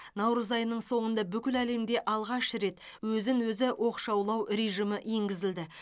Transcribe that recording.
наурыз айының соңында бүкіл әлемде алғаш рет өзін өзі оқшаулау режимі енгізілді